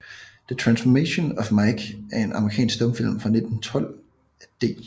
The Transformation of Mike er en amerikansk stumfilm fra 1912 af D